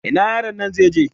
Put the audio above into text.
Ina yaron nan zai je?